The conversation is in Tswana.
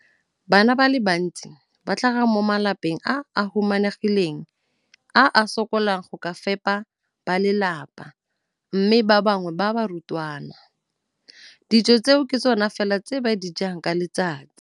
Bana ba le bantsi ba tlhaga mo malapeng a a humanegileng a a sokolang go ka fepa ba lelapa mme ba bangwe ba barutwana, dijo tseo ke tsona fela tse ba di jang ka letsatsi.